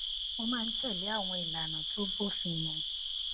mo máa ń tèlé àwọn ìlànà tó bófin mu